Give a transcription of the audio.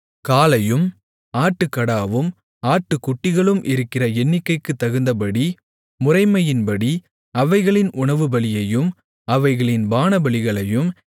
காளையும் ஆட்டுக்கடாவும் ஆட்டுக்குட்டிகளும் இருக்கிற எண்ணிக்கைக்குத் தகுந்தபடி முறைமையின்படி அவைகளின் உணவுபலியையும் அவைகளின் பானபலிகளையும்